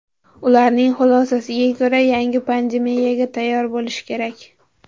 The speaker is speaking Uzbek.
Ularning xulosasiga ko‘ra, yangi pandemiyaga tayyor bo‘lish kerak.